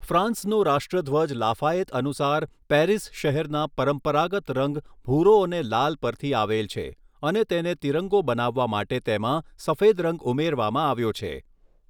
ફ્રાન્સનો રાષ્ટ્રધ્વજ લાફાયૅત અનુસાર પૅરિસ શહેરના પરંપરાગત રંગ ભૂરો અને લાલ પરથી આવેલ છે અને તેને ત્રિરંગો બનાવવા માટે તેમાં સફેદ રંગ ઉમેરવામાં આવ્યો છે.